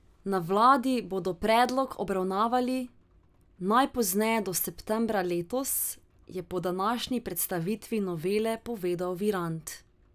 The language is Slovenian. Na vladi bodo predlog obravnavali najpozneje do septembra letos, je na današnji predstavitvi novele povedal Virant.